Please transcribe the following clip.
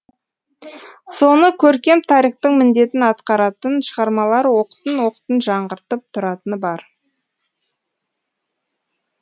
соны көркем тарихтың міндетін атқаратын шығармалар оқтын оқтын жаңғыртып тұратыны бар